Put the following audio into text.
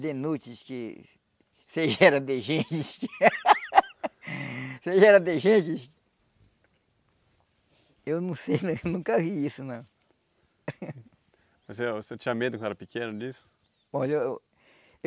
de nudes que seja era de gente seja era de gente eu não sei, eu nunca vi isso não o senhor o senhor tinha medo quando era pequeno disso? Olha